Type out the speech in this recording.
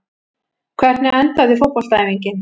hvernig endaði fótboltaæfingin